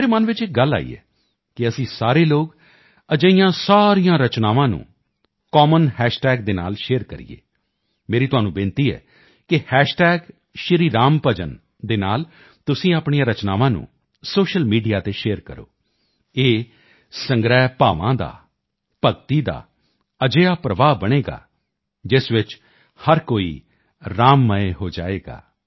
ਮੇਰੇ ਮਨ ਚ ਇੱਕ ਗੱਲ ਆਈ ਹੈ ਕਿ ਕੀ ਅਸੀਂ ਸਾਰੇ ਲੋਕ ਅਜਿਹੀਆਂ ਸਾਰੀਆਂ ਰਚਨਾਵਾਂ ਨੂੰ ਇੱਕ ਕਾਮਨ ਹਾਸ਼ ਟੈਗ ਦੇ ਨਾਲ ਸ਼ੇਅਰ ਕਰੋ ਮੇਰੀ ਤੁਹਾਨੂੰ ਬੇਨਤੀ ਹੈ ਕਿ ਹੈਸ਼ ਟੈਗ ਸ਼੍ਰੀ ਰਾਮ ਭਜਨ ਸ਼੍ਰੀ ਰਾਮ ਭਜਨ ਦੇ ਨਾਲ ਤੁਸੀਂ ਆਪਣੀਆਂ ਰਚਨਾਵਾਂ ਨੂੰ ਸੋਸ਼ਲ ਮੀਡੀਆ ਤੇ ਸ਼ੇਅਰ ਕਰੋ ਇਹ ਸੰਗ੍ਰਹਿ ਭਾਵਾਂ ਦਾ ਭਗਤੀ ਦਾ ਅਜਿਹਾ ਪ੍ਰਵਾਹ ਬਣੇਗਾ ਜਿਸ ਚ ਹਰ ਕੋਈ ਰਾਮ ਮਯ ਹੋ ਜਾਵੇਗਾ